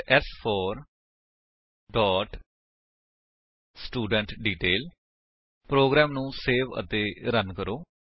ਫਿਰ ਸ4 dot student detail program ਨੂੰ ਸੇਵ ਅਤੇ ਰਨ ਕਰੋ